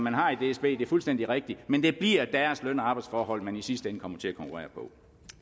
har i dsb det er fuldstændig rigtigt men det bliver deres løn og arbejdsforhold man i sidste ende kommer til at konkurrere på